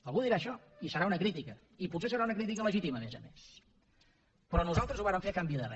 algú dirà això i serà una crítica i potser serà una crítica legítima a més a més però nosaltres ho vàrem fer a canvi de res